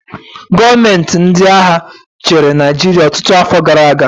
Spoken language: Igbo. Gọọmenti ndị agha chịrị Naịjirịa ọtụtụ afọ gara aga